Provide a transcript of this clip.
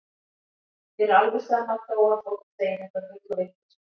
Mér er alveg sama þó að fólk segi þetta bull og vitleysu.